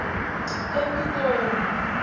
epitori